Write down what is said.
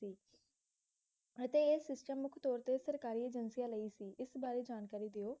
ਅਤੇ ਇਹ system ਮੁਖ ਤੌਰ ਤੇ ਸਰਕਾਰੀ ਏਜੇਂਸੀਆਂ ਲਈ ਸੀ ਇਸ ਬਾਰੇ ਜਾਣਕਾਰੀ ਦਿਓ